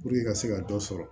i ka se ka dɔ sɔrɔ